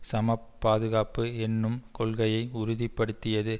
சமப் பாதுகாப்பு என்னும் கொள்கையை உறுதிபடுத்தியது